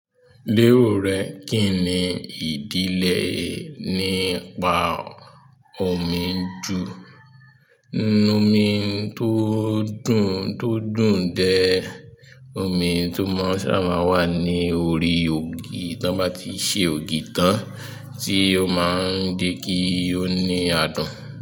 Lero rẹ, kínni ìdílé nípa omi ju? Omi tó dùn tó dùn dẹ omi tó mọ́ ṣá máa ń wà ní orí ògì tí wọ́n bá ti ṣe ògì tán tí ó máa ń dé kí ó ní adùn.